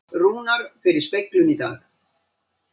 Rúnar fer í speglun í dag